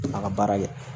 A ka baara kɛ